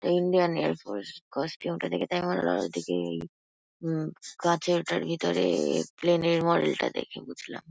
Indian Air Force costume -টা দেখে তাই মনে হলো। আর ওদিকে উম কাঁচে ওটার ভিতরে প্লেন -এর মডেল -টা দেখে বুঝলাম।